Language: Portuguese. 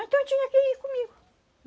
Então tinha que ir comigo.